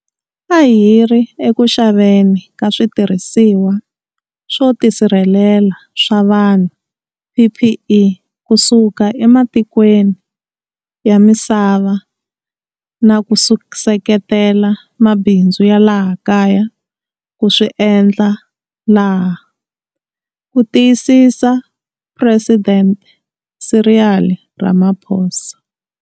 A hi ri eku xaveni ka switirhisiwa swo tisirhelela swa vanhu, PPE, kusuka ematikweni ya misava na ku seketela mabindzu ya laha kaya ku swi endla laha, ku tiyisisa Phuresidente Cyril Ramaphosa.